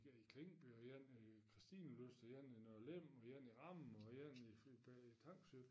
En i Klinkby og en i Kristinelyst og en i Nørre Lem og en Ramme og en i Tangsø